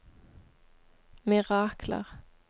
mirakler